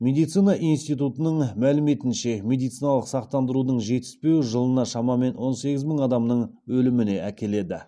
медицина институтының мәліметінше медициналық сақтандырудың жетіспеуі жылына шамамен он сегіз мың адамның өліміне әкеледі